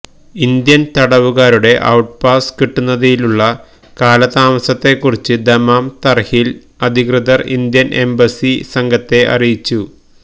Indian തടവുകാരുടെ outpass കിട്ടുന്നതിലുള്ള കാലതാമസത്തെ കുറിച്ച് ദമാം തർഹീൽ അധികൃതർ ഇന്ത്യൻ എംബസി സംഘത്തെ അറിയിച്ചു